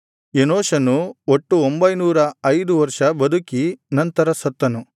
ಎನೋಷನು ಒಟ್ಟು ಒಂಭೈನೂರ ಐದು ವರ್ಷ ಬದುಕಿ ನಂತರ ಸತ್ತನು